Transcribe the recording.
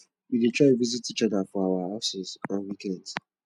we dey try visit each other for our houses on weekends